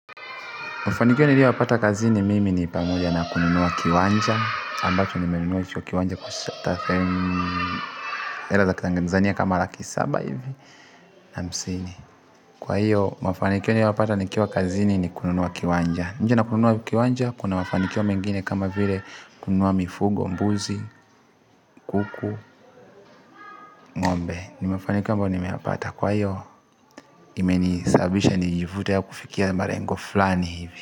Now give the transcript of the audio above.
Mafanikio niliyo yapata kazini mimi ni pamoja na kununua kiwanja ambacho nimenunua hicho kiwanja hela za kitanzania kama laki saba hivi na hamsini kwa hiyo, mafanikio niliyo yapata nikiwa kazini ni kununua kiwanja nje na kununua kiwanja, kuna mafanikio mengine kama vile kununua mifugo, mbuzi, kuku, ngo'mbe ni mafanikio ambayo nimeyapata kwa hiyo, imeni sababisha nijivute ya kufikia malengo flani hivi.